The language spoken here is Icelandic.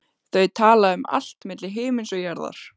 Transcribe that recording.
Þau tala um allt milli himins og jarðar.